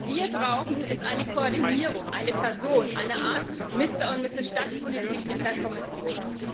Was wir brauchen, ist eine Koordinierung, eine Person, eine Art Mister oder Misses Stadtpolitik in der Kommission.